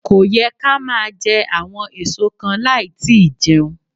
Kò yẹ ká máa jẹ àwọn èso kan láì tí í jẹun.